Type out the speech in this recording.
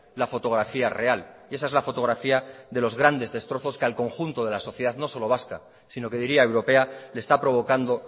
la fotografía real y esa es la fotografía de los grandes destrozos que al conjunto de la sociedad no solo vasca sino que diría europea le está provocando